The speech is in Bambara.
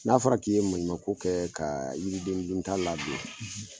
N'a fɔra k'i ye maɲuma ko kɛ ka yiridendunta ladon